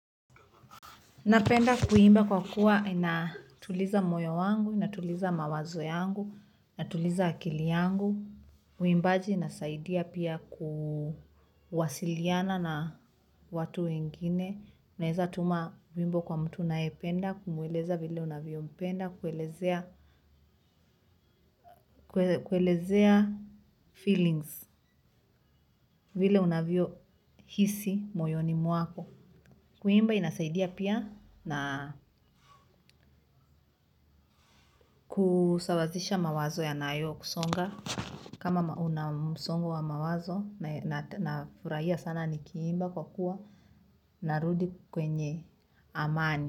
Napenda kuimba kwa kuwa inatuliza moyo wangu, inatuliza mawazo yangu, inatuliza akili yangu. Uimbaji inasaidia pia kuwasiliana na watu wengine. Unaweza tuma wimbo kwa mtu unayependa, kumweleza vile unavyompenda, kuelezea kuelezea, feelings, vile unavyohisi moyoni mwako. Kuimba inasaidia pia na kusawazisha mawazo yanayo kusonga kama una msongo wa mawazo na furahia sana nikiimba kwa kuwa narudi kwenye amani.